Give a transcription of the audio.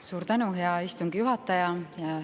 Suur tänu, hea istungi juhataja!